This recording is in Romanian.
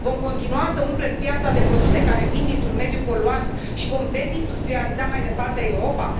Vom continua să umplem piața de produse care vin dintr un mediu poluant și vom dezindustrializa mai departe Europa?